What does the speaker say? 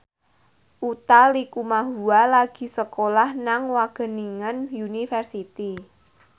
Utha Likumahua lagi sekolah nang Wageningen University